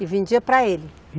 E vendia para ele?